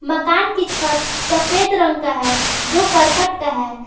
मकान की छत सफेद रंग का है जो करकट का है।